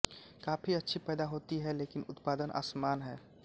coffee अच्छी पैदा होती है लेकिन उत्पादन असमान है